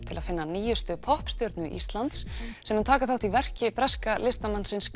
til að finna nýjustu poppstjörnu Íslands sem mun taka þátt í verki breska listamannsins